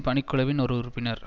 பணிக் குழுவின் ஒரு உறுப்பினர்